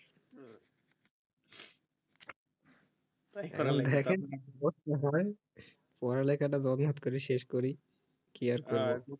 দেখেন পড়াশোনা করেন পড়া লেখা টা করে শেষ করি